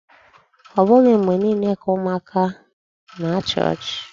Ọ bụghị mgbe niile ka ụmụaka na-achị ọchị.